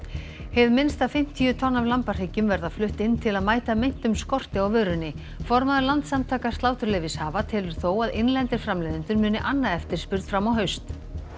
hið minnsta fimmtíu tonn af lambahryggjum verða flutt inn til að mæta meintum skorti á vörunni formaður Landssamtaka sláturleyfishafa telur þó að innlendir framleiðendur muni anna eftirspurn fram á haust